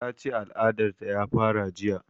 Ta ce al'adar ta ya fara jiya